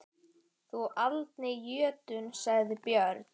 Þú aldni jötunn, sagði Björn.